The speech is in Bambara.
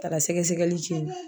Taara sɛgɛsɛgɛli kɛ yen nɔ